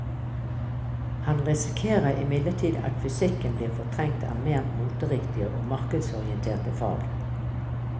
Han risikerer imidlertid at fysikken blir fortrengt av mer moteriktige og markedsorienterte fag.